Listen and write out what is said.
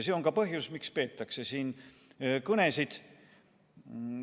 See on ka põhjus, miks peetakse kõnesid.